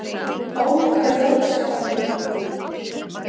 Ólga jókst þar mjög.